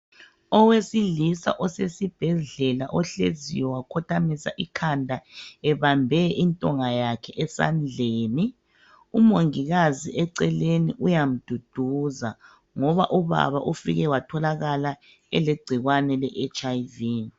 Owesilisa osesibhedlela ohleziyo wakhothamisa ikhanda ebambe intonga yakhe esandleni umongikazi eceleni uyamduduza ngoba ubaba ufike watholakala elegcikwane le hiv.